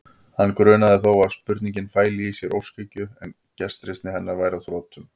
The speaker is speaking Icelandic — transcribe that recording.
Hann grunaði þó að spurningin fæli í sér óskhyggju, að gestrisni hennar væri á þrotum.